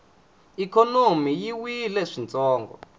ikhonomi yi wile swintsongo